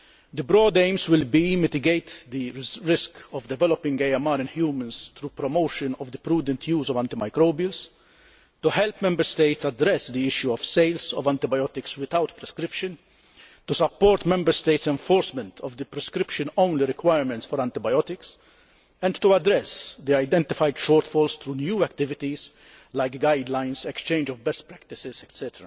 The broad aims will be to mitigate the risk of developing AMR in humans through promotion of the prudent use of antimicrobials, to help Member States address the issue of sales of antibiotics without prescription, to support Member States' enforcement of the prescription only requirements for antibiotics and to address the identified shortfalls through new activities, such as guidelines, exchange of best practices, etc.